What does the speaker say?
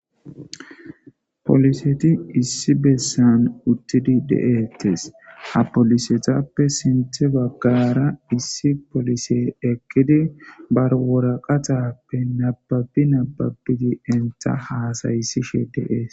poliseti issi bessan uttidi deettes ha polisetappe sinthe baggara issi polise ekkidi barwora qaxappe nababbi nababbiti entha haasaysishe deees